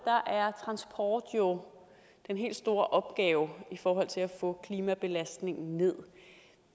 er transport jo den helt store opgave i forhold til at få klimabelastningen nederst